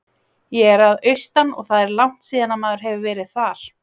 Ég er að austan og það er langt síðan að maður hefur verið þar.